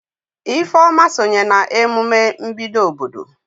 Ifeoma sonye na emume mbido obodo.